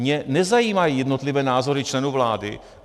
Mě nezajímají jednotlivé názory členů vlády.